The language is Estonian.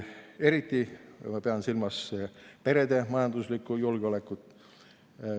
Eriti pean ma silmas perede majanduslikku julgeolekut.